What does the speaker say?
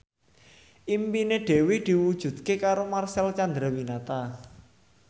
impine Dewi diwujudke karo Marcel Chandrawinata